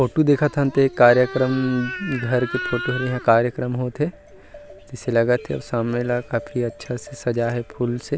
photo देखथन तेहा इ कार्यक्रम घर के फोटो होंथे तैसे लगथे सामने ल काफी अच्छा से सजाये हे फुल से --